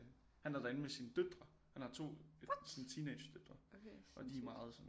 Han er derinde med sine døtre han har to sådan teenagedøtre og de er meget sådan